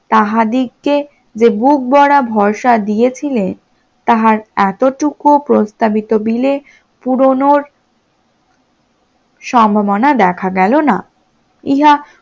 তাহা দিগে বুক ভরা ভরসা দিয়েছিলেন তাহার এতটুকু প্রস্তাবিত bill এ পূণ সম্ভাবনা দেখা গেল না, ইহা